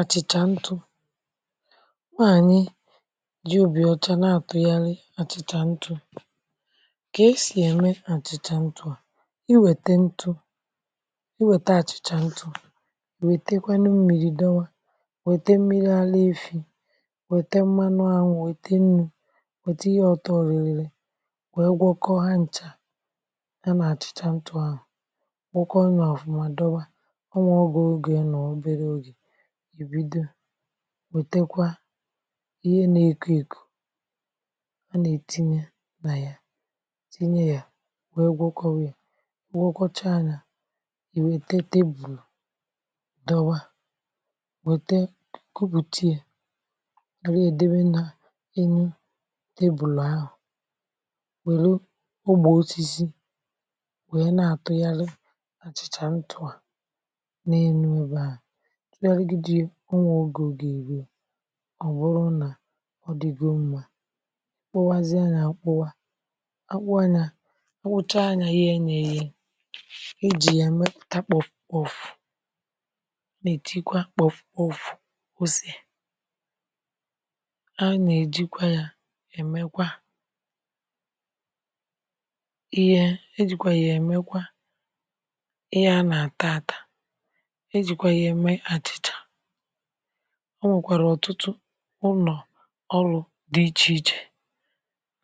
Achịcha ntụ̇, nwaanyị ji obi ọcha na-atụgharị achịcha ntụ̇. Ka e si eme achịcha ntụ̇ a, i weta ntụ̇ i weta achịcha ntụ̇ wetekwanụ mmiri dọwa i wete mmiri ala efi̇ wete mmanụ anwụ̇, wete nnụ̇ wete ihe ọtọ ririri we gwokọ ha nchà, ya nà achịcha ntụ̇ ahụ̀ gwokọ ọ yà ọfụma dọba, onwee oge oga-anọo obere oge, ibido wètekwa ihe na-eko èkò a na-ètinye naya tinye ya wee gwọkọba i gwọkọcha ànyà, ìwète tebụ̀l dọwa wète kupùtìe were ya debe na enu tebụ̀l ahụ̀, nwèlu ogbè osisi wee na-àtụghari achị̇chà ntụ̀à n'enu ebe ahụ, itugharigidia onwee oge oga èru ọ bụrụ nà ọ dịgo mma kpụwazịa yà akụwa, akpụwà yà akpụchaa ayà ghee ya eghe, eji ya emepụta kpọfùkpọ̀fù nà e tikwa kpọfùkpọ̀fù ose, a nà ejikwa yȧ èmekwa ihe e jikwa yȧ èmekwa ihe a nà àtaata, ejìkwà ya eme achịcha, ọ nwèkwàrà ọ̀tụtụ ụnọ̀ ọrụ̇ dị ichèichè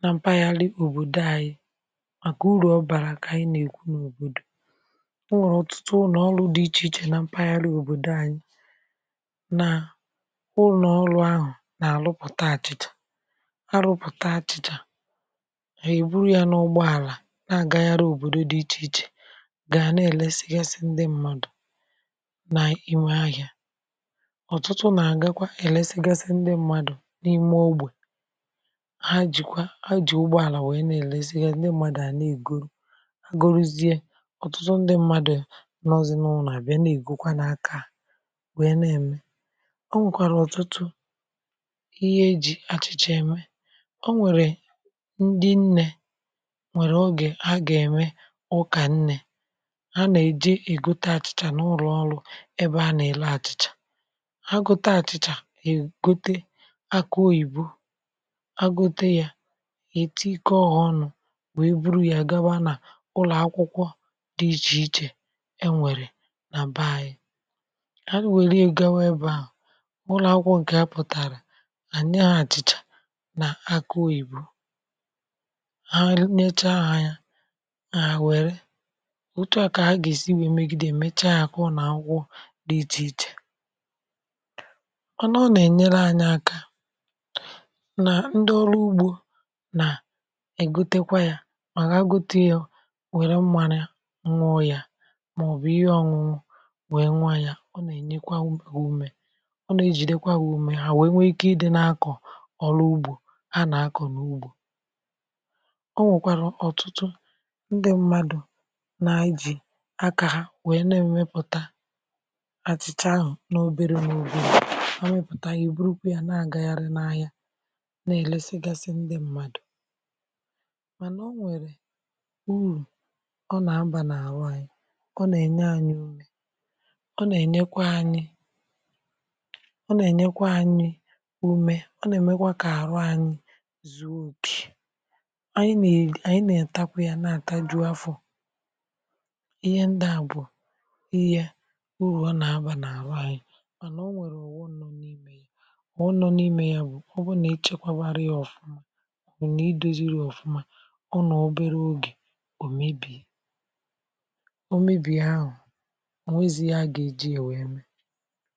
na mpaghara òbòdo anyi màkà urù ọ̀bàrà kà ànyi na-èkwu n’òbòdò, o nwèrè ọ̀tụtụ ụnọ̀ ọrụ̇ dị ichèichè na mpaghara òbòdo anyi na ụnọ̀ ọrụ̇ ahụ̀ nà àrụpụ̀ta àchịchè à àrụpụ̀ta achị̇chà à èburu yȧ n’ụgbọ àlà na-agagharị òbòdo dị ichèichè gà na-èlesigasị ndị mmadụ n'ime ahịa. ọ̀tụtụ nà-àgakwa èlesigasị ndị mmadụ̀ n’ime ogbè ha jìkwa ha ji̇ ụgbọ̇ àlà wèe na-èlesiga ndị mmadụ̀, ndị mmadụ à na-ègoro agorozie ọ̀tụtụ ndị mmadụ̀ nọọ̇zị̇ n’ụ̀nọ̀ à bịa na-ègokwa n’aka à wèe nà-ème. ọ nwèkwàrà ọ̀tụtụ ihe e ji achịcha eme o nwèrè ndị nnė nwèrè ọge ha gà-ème ukà nnė, ha nà-èji ègote àchịchà n’ụrụ ọrụ ebe ana-ere àchị̀chà, ha gote achịcha, ègote akȧ oyìbo agote yȧ ètekoọ ha ọnụ̇ wee buru ya gaba nà ụlọ̀ akwụkwọ dị ichè ichè, è nwèrè nà bee ȧnyị̇, ha wère gawa ebe ahụ̀ ụlọ̀ akwụkwọ ǹkè a pụ̀tàrà enye ha àchị̀chà nà akȧ oyìbo ha nyechaa ha ya, hà àwère, òtu à kà a gà-èsi nwèe megide mechaa yȧ ku uno akwụkwọ dị ịchè ịchè. Mana ọ nà-ènyere anyị akȧ nà ndị ọrụ ugbȯ nà ègotekwa yȧ mà gha gote yȧ ò nwère mmanyeị nwụọ yȧ màọ̀bụ̀ ihe ọ̇ñụñụ wèe nwua yȧ, ọ nà-ènyekwa ha umė, ọ nà-ejìdekwa ha ume ha wèe nwee ike ịdị̇ na-akọ̀ ọrụ ugbȯ ha nà-akọ̀ n’ugbȯ. o nwèkwàrụ̀ ọ̀tụtụ ndị mmadù na ijì akȧ ha wèe na-emepùta achịcha ahụ na obere na obere ha mepụta ayị, hà e buru kwe yà na-agagharị n’ahịa na-elesigasị ndị mmadụ̀, manà o nwere uru ọ na-abà na-arụ anyị. ọ na-enye anyị ume, ọ na-enyekwa anyị ume, ọ na-emekwa ka arụ anyị zùo okè, anyị na-atakwa yà na-ata juu àfọ̀, ịhe ndị à bụ̀ ihe urù ọ na-aba na-arụ anyị mànà onwere ọghọm, ọghọm nọ̀ n’ime ya bụ̀ ọ bụrụ nà ichekwȧbara ya ọfụma, ọ̀o na i doziri ya ọ̀fụma, ọ nọ̀ obere oge ò mebie, o mebie ahụ̀ onwezi ihe aga-eji ya wee mee.